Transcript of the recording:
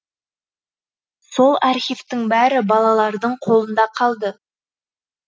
сол архивтің бәрі балалардың қолында қалды